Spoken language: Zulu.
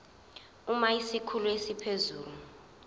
uma isikhulu esiphezulu